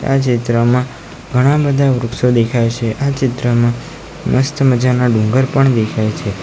આ ચિત્રમાં ઘણા બધા વૃક્ષો દેખાય છે આ ચિત્રમાં મસ્ત મજાના ડુંગર પણ દેખાય છે.